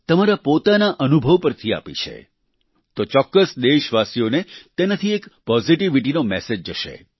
તમારા પોતાના અનુભવ ઉપરથી આપી છે તો ચોક્કસ દેશવાસીઓને તેનાથી એક પોઝીટિવીટીનો મેસેજ જશે